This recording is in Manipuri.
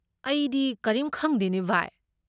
ꯑꯩꯗꯤ ꯀꯔꯤꯝ ꯈꯪꯗꯦꯅꯦ, ꯚꯥꯏ꯫